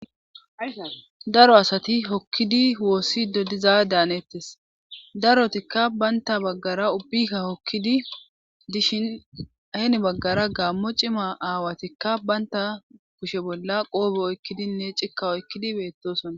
daro asati hokkidi woossi dodiza daanettes darotikka baynta baggara ubbika hokkidi dishin ahen baggara gammo cima aawatikka baynta kushe bolla qoobo oykkidinne cikka oykkidi beettosona